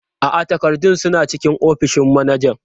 A'a, takardun suna cikin ofishin manajan.